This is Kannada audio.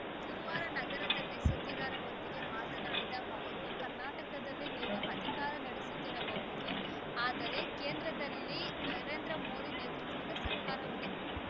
ಗುರುವಾರ ನಗರದಲ್ಲಿ ಸುದ್ದಿಗಾರರೊಂದಿಗೆ ಮಾತನಾಡಿದ ಅವರು ಕರ್ನಾಟಕದಲ್ಲಿ ನೀವು ಅಧಿಕಾರ ನಡೆಸುತ್ತಿರಬಹುದು ಆದರೆ ಕೇಂದ್ರದಲ್ಲಿ ನರೇಂದ್ರ ಮೋದಿ ನೇತೃತ್ವದ ಸರ್ಕಾರವಿದೆ